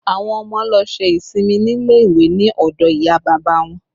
Àwọn ọmọ lọ ṣe ìsinmi nílé ìwé ni ọdọ ìyá bàbá wọn